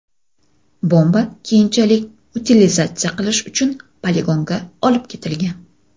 Bomba keyinchalik utilizatsiya qilish uchun poligonga olib ketilgan.